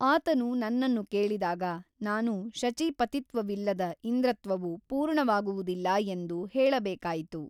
ಆತನು ನನ್ನನ್ನು ಕೇಳಿದಾಗ ನಾನು ಶಚೀಪತಿತ್ವವಿಲ್ಲದ ಇಂದ್ರತ್ವವು ಪೂರ್ಣವಾಗುವುದಿಲ್ಲ ಎಂದು ಹೇಳಬೇಕಾಯಿತು.